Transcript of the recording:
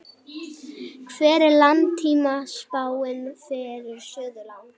hver er langtímaspáin fyrir suðurland